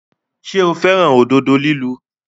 Ṣé o fẹ́ràn òdodo lílu?